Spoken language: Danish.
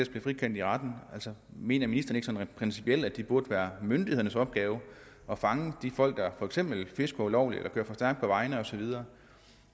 blive frikendt i retten mener ministeren ikke sådan rent principielt at det burde være myndighedernes opgave at fange de folk der for eksempel fisker ulovligt eller kører for stærkt på vejene osv